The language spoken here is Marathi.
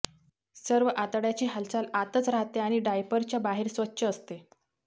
सर्व आतड्याची हालचाल आतच राहते आणि डायपरच्या बाहेर स्वच्छ असते